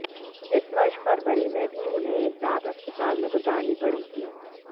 इस वर्ष फरवरी में भी उन्हें एक रात अस्पताल में गुजारनी पड़ी थी